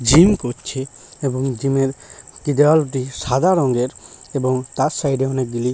gym করছে এবং gym -এর টি দেয়ালটি সাদা রঙের এবং তার সাইড -এ অনেকগুলি--